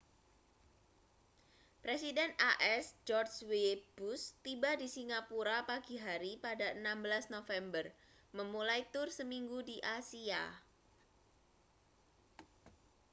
presiden as george w bush tiba di singapura pagi hari pada 16 november memulai tur seminggu di asia